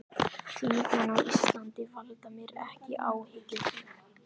Þingmenn á Íslandi valda mér ekki áhyggjum.